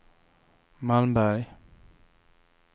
Malmberg